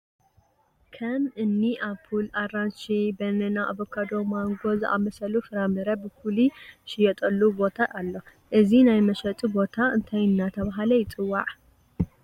ከም እኒ ኣፕል፣ ኣራንሺ፣ በነና፣ ኣቮካዳ፣ ማንጎ ዝኣምሰሉ ፍራ ምረ ብፍሉይ ዝሽየጡሉ ቦታ ኣሎ፡፡ እዚ ናይ መሸጢ ቦታ እንታይ እናተባህለ ይፅዋዕ፡፡